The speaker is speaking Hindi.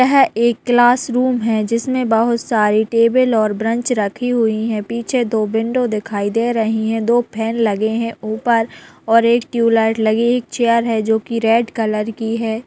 यह एक क्लासरूम है जिसमें बहुत सारी टेबल और ब्रेनच रखी हुई है पीछे दो विंडो दिखाई दे रही है दो फैन लगे है ऊपर और एक ट्यूबलाइट एक चेयर है जो रेड कलर की है।